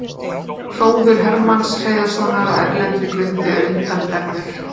Hróður Hermanns Hreiðarssonar á erlendri grundu er undraverður.